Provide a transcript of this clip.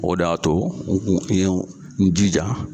O de y'a to n ye n jija